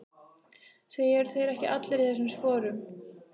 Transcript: Því eru þeir ekki allir í þessum sporum?